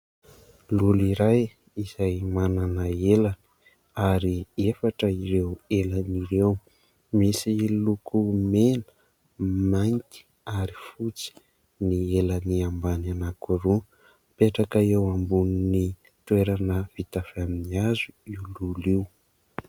Lolo iray izay manana elany ary efatra ireo elany ireo. Misy lokony mena, mainty ary fotsy ny elany ambany anankiroa. Mipetraka eo ambony toerana vita avy amin'ny hazo io lolo io.